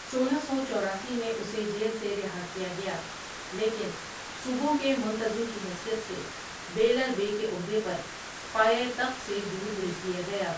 سولہ سو چوراسی میں اسے جیل سے رہا کیا گیا ، لیکن صوبوں کے منتظم کی حیثیت سے بیلر بے کے عہدے پر پایۂ تخت سےدور بھیج دیا گیا ۔